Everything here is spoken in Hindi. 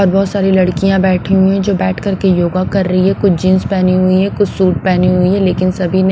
और बहुत सारी लड़कियां बैठी हुई है जो बैठ कर के योगा कर रही है कुछ जींस पहनी हुई है कुछ सूट पहनी हुई है लेकिन सभी ।